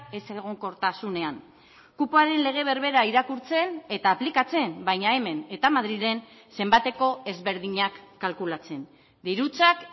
ezegonkortasunean kupoaren lege berbera irakurtzen eta aplikatzen baina hemen eta madrilen zenbateko ezberdinak kalkulatzen dirutzak